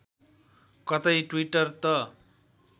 कतै ट्विटर त